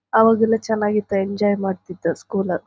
ಅವಾಗೆಲ್ಲ ಚನಗಿತ್ತು ಎಂಜಾಯ್ ಮಾಡ್ತಿದ್ದೋ ಸ್ಕೂಲ್ ಲ.